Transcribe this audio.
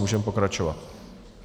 Můžeme pokračovat.